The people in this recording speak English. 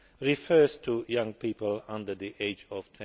refers to young people under the age of